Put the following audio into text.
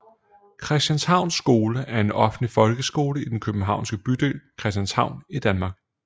Christianshavns Skole er en offentlig folkeskole i den københavnske bydel Christianshavn i Danmark